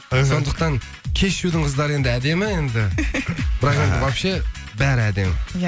сондықтан кешьюдың қыздары енді әдемі енді бірақ енді вообще бәрі әдемі ия